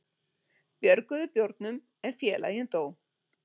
Björguðu bjórnum en félaginn dó